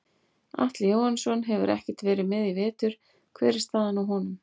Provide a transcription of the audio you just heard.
Atli Jóhannsson hefur ekkert verið með í vetur hver er staðan á honum?